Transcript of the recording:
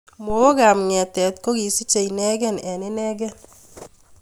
Mowookaab ng�eetet ko kisiche ineekei eng inei